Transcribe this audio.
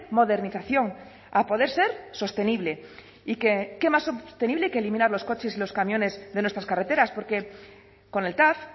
modernización a poder ser sostenible y qué más sostenible que eliminar los coches y los camiones de nuestras carreteras porque con el tav